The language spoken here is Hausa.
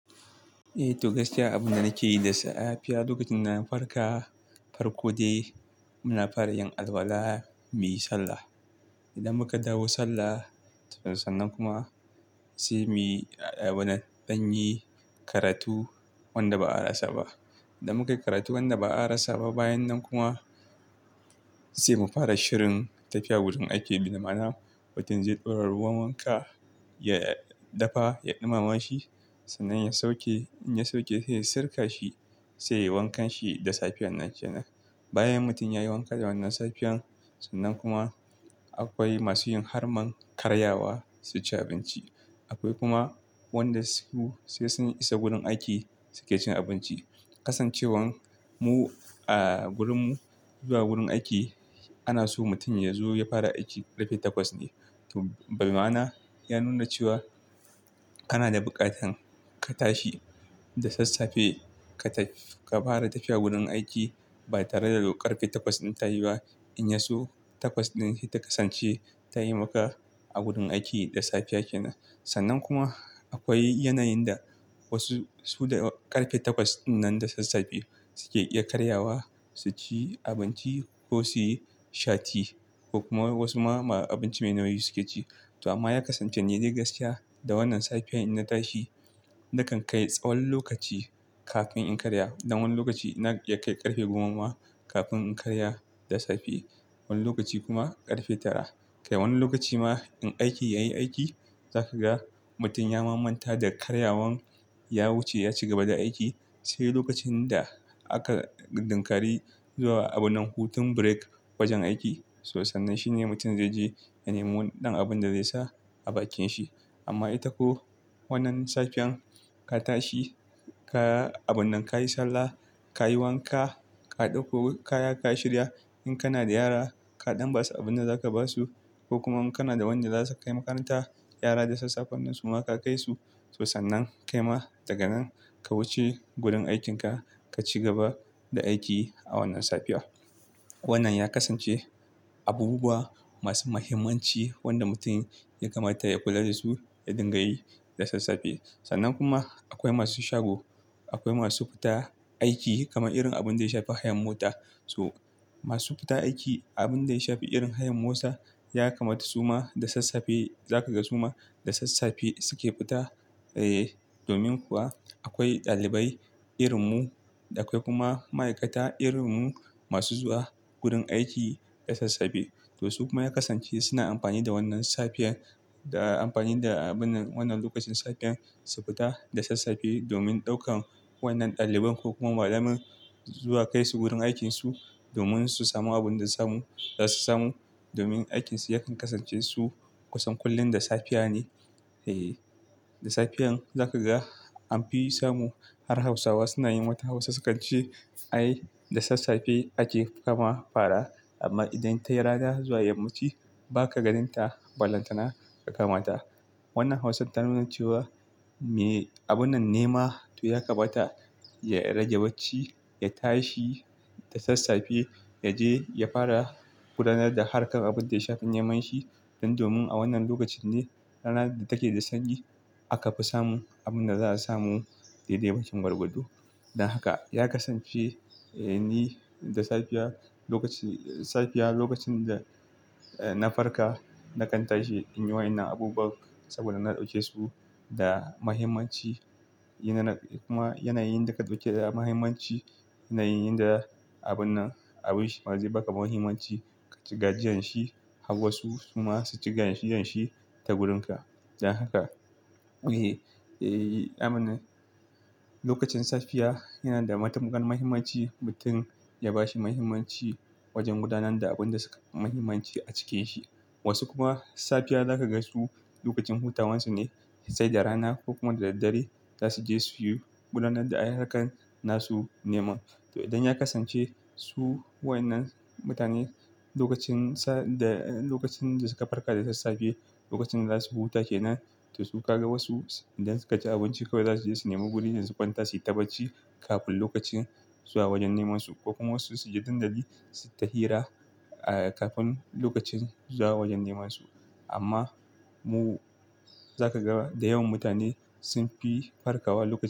Eh, to gaskiya abunda nake yi da safiya lokacin na farka farko dai muna fara yin alwala muyi sallah. Idan muka dawo sallah to sannan kuma sai muyi a-- wana, danyi karatu wanda ba'a rasa ba. Idan muka yi karatu wanda ba'a rasa ba bayan nan kuma sai mu fara shirin tafiya gurin aiki. Bima mana mutum zai ɗaura ruwan wanka ya dafa, ya ɗumama shi sannan ya sauke. In ya sauke sai sirka shi sai yayi wankan shi da safiyan nan kenan. Bayan mutum yayi wanka da wannan safiyan sannan kuma akwai masu yin harman karyawa su ci abinci. Akwai kuma wanda su sai sun isa gurin aiki suke cin abinci. Kasancewan mu a gurinmu zuwa gurin aiki ana so mutum yazo ya fara aiki ƙarfe takwas ne. To bima'ana ya nuna cewa kana da buƙatan ka tashi da sassafe ka taf-- ka fara tafiya gurin aiki ba tare da lokar ƙarfe takwas ɗin ta yi ba. In ya so takwas ɗin sai ta kasance tayi maka a gurin aiki da safiya kenan. Sannan kuma akwai yanayin da wasu su da ƙarfe takwas ɗin nan da sassafe suke iya karyawa su ci abinci ko suyi shati ko kuma wasu ma abinci mai nauyi suke ci. To amma ya kasance ne dai gaskiya da wannan safiyan in na tashi nakan kai tsawon lokaci kafin in karya. Dan wani lokaci na iya kai ƙarfe goma ma kafin in karya da safe. Wani lokaci kuma ƙarfe tara. Kai wani lokaci ma in aiki yayi aiki zaka ga mutum ya mamanta da karyawan ya wuce ya cigaba da aiki sai lokacin da aka ɗinkari zuwa abunan hutun break wajen aiki. To sannan shine mutum zai je ya nemo wani ɗan abun da zai sa a bakin shi. Amma ita ko wannan safiyan ka tashi ka-- abun nan kayi sallah, ka yi wanka, ka ɗauko kaya ka shirya in kana da yara ka ɗan basu abunda zaka basu ko kuma kana da wanda zasu kai makaranta yara da sassafen nan suma ka kai su. To sannan kai ma daga nan ka wuce gurin aikinka ka cigaba da aiki a wannan safiya. Wannan ya kasance abubuwa masu mahimmanci wanda mutum ya kamata ya kula da su ya dinga yi da sassafe. Sannan kuma akwai masu shago, akwai masu fita aiki kamar irin abin da ya shafi hayan mota. To masu fita aiki abin da ya shafi irin hayan mota ya kamata su ma da sassafe zakaga su ma da sassafe suke fita. Eeh, domin kuwa akwai ɗalibai irin mu da akwai kuma ma'aikata irin mu masu zuwa gurin aiki da sassafe. To su kuma ya kasance suna amfani da wannan safiyan da amfani da abun nan wannan lokacin safiyan su fita da sassafe domin ɗaukan wa'innan ɗaliban ko kuma malaman zuwa kai su gurin aikinsu domin su samu abunda samu za su samu. Domin aikinsu yakan kasance su kusan kullum da safiya ne. Eeh, da safiyan za ka ga an fi samu har Hausawa suna yin mata Hausa sukan ce "Ai da sassafe ake kama fara amma idan tai rana zuwa yamma ci ba ka ganin ta ballantana ka kama ta." Wannan Hausan ta nuna cewa me abun nan nema to ya kamata ya rage bacci, ya tashi da sassafe, ya je ya fara gudanar da harkar abin da ya shafi neman shi. Dan domin a wannan lokacin ne rana take da sanyi aka fi samun abin da za a samu daidai bakin gwargwado. Dan haka ya kasance, eh ni da safiya lokacin-- safiya lokacin da, eh na farka nakan tashi in yi wa'inan abubuwan saboda na ɗauke su da mahimmanci. Yanana kuma yanayin da ka ɗauke da mahimmanci yanayin da abun nan abin shima zai baka mahimmanci ka ci gajiyan shi, har wasu suma su ci gajiyan shi ta gurin ka. Dan haka, eeh, aman. Lokacin safiya yana da matuƙar mahimmanci mutum ya bashi mahimmanci wajen gudanar da abin da sukafi mahimmanci a cikin shi. Wasu kuma safiya za ka ga su lokacin hutawansu ne sai da rana ko kuma da daddare zasu je suyi gudanar da ai harkan nasu neman. To idan ya kasance su wa'inan mutane lokacin sa da-- lokacin da suka farka da sassafe lokacin da zasu huta kenan to su ka ga wasu idan suka ci abinci kawai za su je su nemo guri ne su kwanta suyi ta bacci kafin lokacin zuwa wajen neman su. Ko kuma wasu su je dandali suyi ta hira, eh kafin lokacin zuwa wajen neman su. Amma mu za ka ga da yawan mutane sun fi farkawa lokacin.